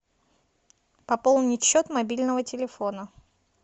пополнить счет мобильного телефона